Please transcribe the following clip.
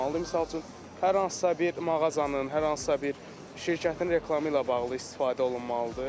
Misal üçün, hər hansısa bir mağazanın, hər hansısa bir şirkətin reklamı ilə bağlı istifadə olunmalıdır.